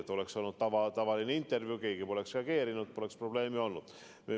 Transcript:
Kui oleks olnud tavaline intervjuu, poleks keegi reageerinud, poleks probleemi olnud.